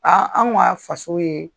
an k'a faso ye